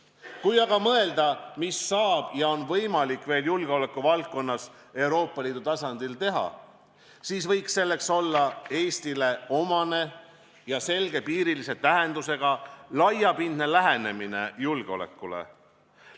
Kui aga mõelda, mida saab ja on võimalik veel julgeolekuvaldkonnas Euroopa Liidu tasandil teha, siis võiks selleks olla Eestile omane ja selgepiirilise tähendusega laiapindne lähenemine julgeolekule.